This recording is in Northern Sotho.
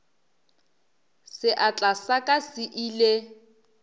seatla sa ka se ile